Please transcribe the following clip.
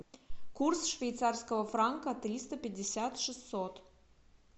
курс швейцарского франка триста пятьдесят шестьсот